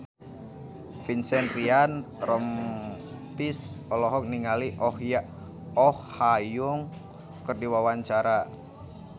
Vincent Ryan Rompies olohok ningali Oh Ha Young keur diwawancara